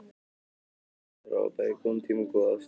Eigandinn þarf að hafa bæði góðan tíma og góða aðstöðu.